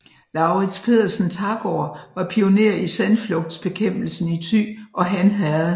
Lauritz Pedersen Thagaard var pioner i sandflugtsbekæmpelsen i Thy og Han herred